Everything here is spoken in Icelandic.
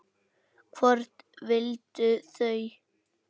Hvort vildu þau?